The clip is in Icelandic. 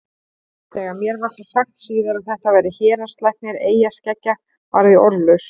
Þegar mér var svo sagt síðar að þetta væri héraðslæknir eyjaskeggja varð ég orðlaus.